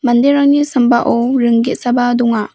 manderangni sambao ring ge·saba donga.